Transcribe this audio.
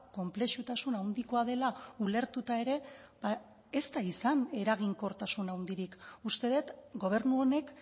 konplexutasuna handikoa dela ulertuta ere ez da izan eraginkortasun handirik uste dut gobernu honek